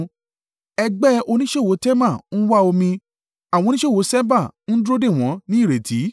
Ẹgbẹ́ oníṣòwò Tema ń wá omi, àwọn oníṣòwò Ṣeba ń dúró dè wọ́n ní ìrètí.